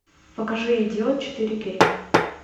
покажи идиот четыре кей